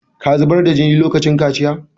Ka zubar da jini lokacin kaciya?